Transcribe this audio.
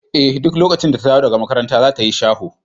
Eh duk lokacin da ta dawo daga makaranta za ta yi shaho.